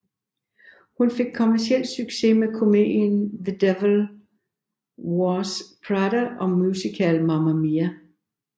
Hun fik kommerciel succes med komedien The Devil Wears Prada og musicalen Mamma Mia